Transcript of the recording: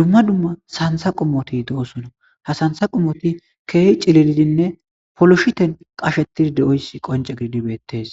dumma dumma santha qumoti do7osona ha santha qummoti keeh cililidinne poloshiten qashetid de7oyssi qonce giddi beettees